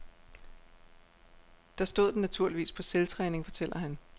Der stod den naturligvis på selvtræning, fortæller han.